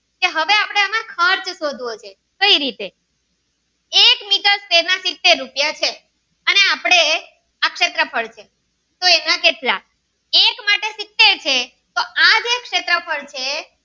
શોધવો છે કઈ રીતે એક મીટર એના સીતેર રૂપિયા છે અને આપડે આ શેત્રફ્ળ છે એના કેટલા એક માટે સીતેર છે તો આ જે શેત્રફ્ળ છે.